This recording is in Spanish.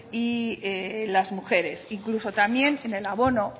y las mujeres incluso también en el abono